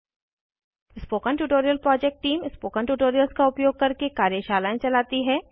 spoken tutorial project team spoken tutorials का उपयोग करके कार्यशालाएं चलाती है